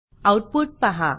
output पाहा